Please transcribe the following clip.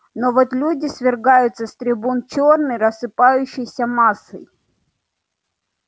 но вот люди свергаются с трибун чёрной рассыпающейся массой